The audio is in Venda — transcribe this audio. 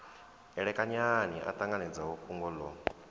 elekanyani a ṱanganedza fhungo ḽo